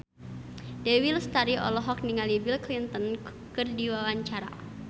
Dewi Lestari olohok ningali Bill Clinton keur diwawancara